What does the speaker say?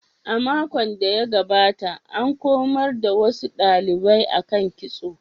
A makon da ya gabata, an komar da wasu dalibai akan kitso.